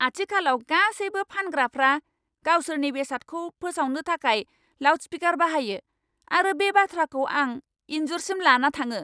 आथिखालाव गासैबो फानग्राफ्रा गावसोरनि बेसादखौ फोसावनो थाखाय लाउडस्पीकार बाहायो आरो बे बाथ्राखौ आं इनजुरसिम लाना थाङो।